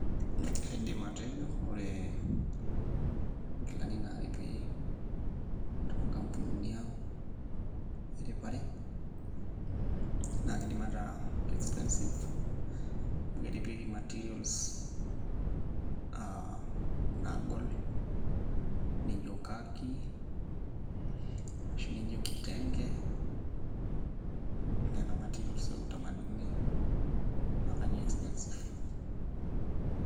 Kaidim atejo ore nkilani naaripi toonkampunini ang' eripare naa kiidim ataa ke expensive amu keripieki materials aa naagol nijio khaki ashu nijio kitenge nena materials e utamaduni[ naa kajo ke expensive.